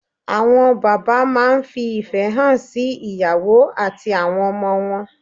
Àwọn bàbá máa n fi ìfẹ́ hàn sí ìyàwó àti àwọn ọmọ wọn